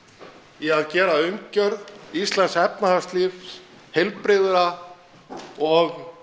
í að gera umgjörð íslensks efnahagslífs heilbrigða og